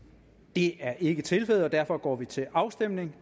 det er ikke tilfældet og derfor går vi til afstemning